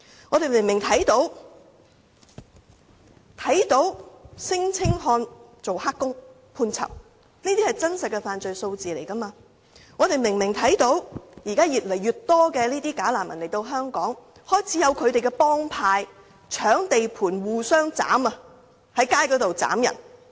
我們明明看到有聲請漢"打黑工"而被判囚，這些也是真實的犯罪數字；我們又明明看到現時有越來越多"假難民"來港，更開始有他們的幫派，在搶地盤及在街頭互相斬殺。